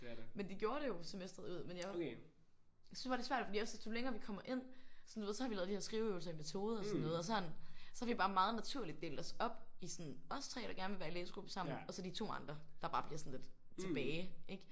Men de gjorde det jo semesteret ud men jeg synes bare det er svært for jeg synes jo længere vi kommer ind sådan du ved så har vi lavet de her skriveøvelser i metode og sådan noget og sådan. Så har vi bare meget naturligt delt os op i os 3 der gerne vil være i læsegruppe sammen og så de 2 andre der bare bliver sådan lidt tilbage ik?